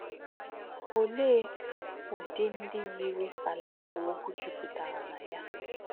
Ọ̀lē̄ ūdí̄ ndí̄ yīrì̄ àlà̄ àhū̄ ọ̀gwù̄ jụ̀pụ̀tà̄rà̄ nà yá̄?